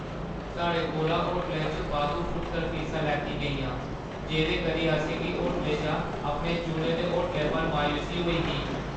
साढ़े कोला होटलै च बाद्धू फुटकर फीसा लैतियां गेइयां, जेह्दे करी असें गी होटलें चा अपने चुने दे होटलै पर मायूसी होई ही।